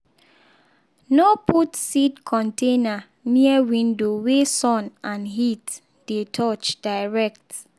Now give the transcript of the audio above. no put seed container near window wey sun and heat dey touch direct.